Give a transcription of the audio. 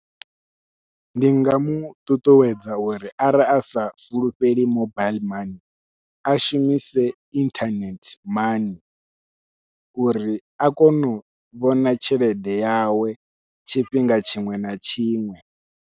Ndi nga muṱuṱuwedza uri arali a sa fulufheli mobaiḽi mani a shumise inthanethe mani uri a kone u vhona tshelede yawe tshifhinga tshiṅwe na tshiṅwe.